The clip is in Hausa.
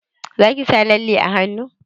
Zaki sa lalle a hannu?